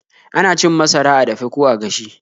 Ana cin masara a dafe ko a gashe.